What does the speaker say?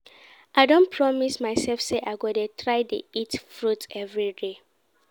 I don promise myself say I go dey try dey eat fruit everyday